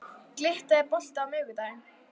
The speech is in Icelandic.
Glytta, er bolti á miðvikudaginn?